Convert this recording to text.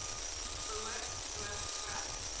behoort rook vry